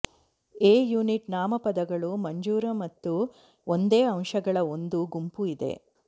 A unit ನಾಮಪದಗಳು ಮಂಜೂರು ಮತ್ತು ಒಂದೇ ಅಂಶಗಳ ಒಂದು ಗುಂಪು ಇದೆ